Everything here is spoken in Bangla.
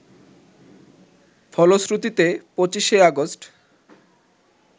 ফলশ্রুতিতে ২৫ আগস্ট